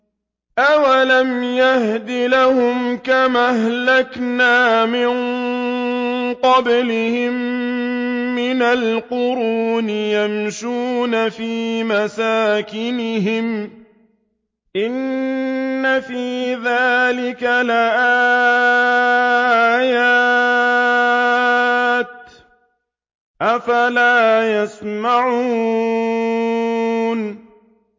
أَوَلَمْ يَهْدِ لَهُمْ كَمْ أَهْلَكْنَا مِن قَبْلِهِم مِّنَ الْقُرُونِ يَمْشُونَ فِي مَسَاكِنِهِمْ ۚ إِنَّ فِي ذَٰلِكَ لَآيَاتٍ ۖ أَفَلَا يَسْمَعُونَ